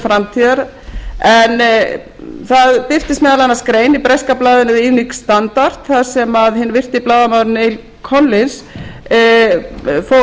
framtíðar en það birtist meðal annars grein i breska blaðinu evening standard þar sem hinn virti blaðamaður neil collins fór lofsamlegum orðum um reynslu sína af